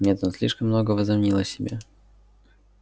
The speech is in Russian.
нет он слишком много возомнил о себе